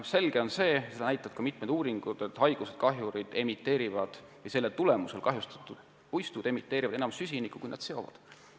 Selge on see – seda näitavad ka mitmed uuringud –, et kahjurite tegevuse ja haiguste tagajärjel kahjustatud puistud emiteerivad süsinikku enam, kui nad seda seovad.